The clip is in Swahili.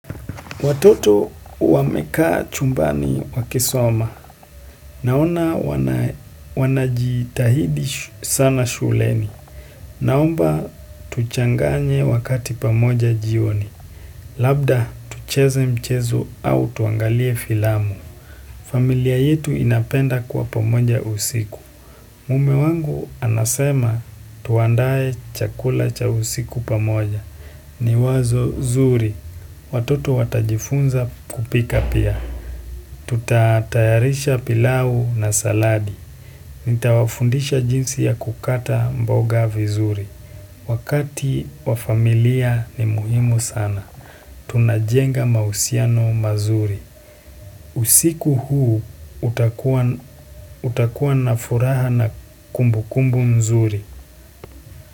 Watoto wameka chumbani wakisoma, naona wanajitahidi sana shuleni, naomba tuchanganye wakati pamoja jioni, labda tucheze mchezo au tuangalie filamu. Familia yetu inapenda kwa pamoja usiku. Mume wangu anasema tuandaye chakula cha usiku pamoja. Ni wazo zuri. Watoto watajifunza kupika pia. Tutatayarisha pilau na saladi. Nitawafundisha jinsi ya kukata mboga vizuri. Wakati wafamilia ni muhimu sana. Tunajenga mausiano mazuri. Usiku huu utakua na furaha na kumbu kumbu mzuri.